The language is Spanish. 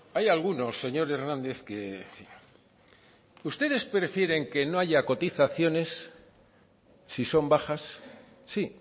hay algunos señor hernández que ustedes prefieren que no haya cotizaciones sin son bajas sí